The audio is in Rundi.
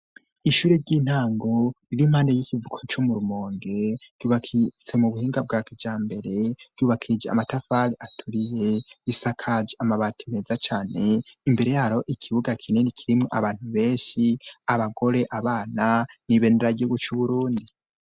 Ishure ry'intango riri impande y'ikivuko co mu Rumonge ryubakitse mu buhinga bwa kijambere, ryubakije amatafari aturiye, risakaje amabati meza cane, imbere yaryo, ikibuga kinini kimwe abantu benshi, abagore abana n'ibendera ry'igihugu c'Uburundi.